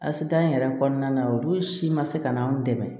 Asitan yɛrɛ kɔnɔna na olu si ma se ka n'an dɛmɛ